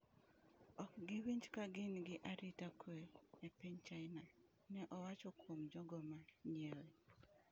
"Ok giwinj ka gin gi arita kwe [e piny China]," ne owacho kuom jogo ma nyiewe.